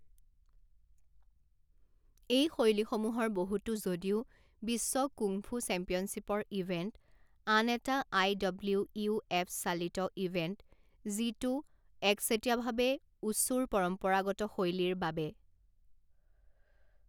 এই শৈলীসমূহৰ বহুতো যদিও বিশ্ব কুংফু চেম্পিয়নশ্বিপৰ ইভেণ্ট, আন এটা আই ডব্লিউ ইউ এফ চালিত ইভেন্ট যিটো একচেটিয়াভাৱে ৱুছুৰ পৰম্পৰাগত শৈলীৰ বাবে।